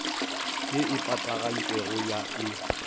ye e patagantšwego ya e